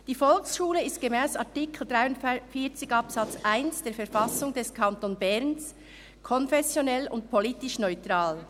«Die Volksschule ist gemäss Artikel 43 Absatz 1 der Verfassung des Kantons Bern konfessionell und politisch neutral».